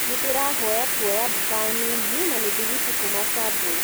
nindirahoya kũoya mboga nini na mithigwiti kũma subway